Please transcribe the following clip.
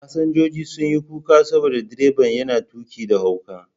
Fasinjojin sun yi kuka saboda direban yana tuƙi da hauka.